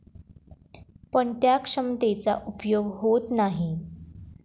पण त्या क्षमतेचा उपयोग होत नाही.